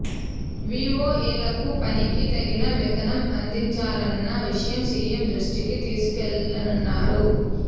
వీవోఏలకు పనికి తగిన వేతనం అందించాలన్న విషయం సీఎం దృష్టికి తీసుకెళ్లానన్నారు